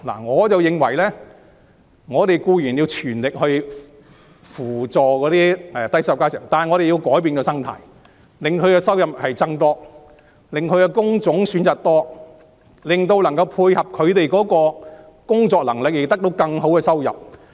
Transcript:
我認為應全力扶助低收入家庭，但我們同時要改變生態，令他們的收入增加，提供更多工種選擇以配合他們的工作能力，從而得到更好的收入。